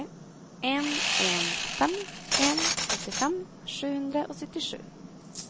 en en fem en åttifem sju hundre og syttisju